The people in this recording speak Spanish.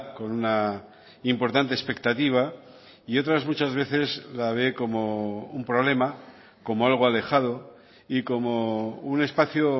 con una importante expectativa y otras muchas veces la ve como un problema como algo alejado y como un espacio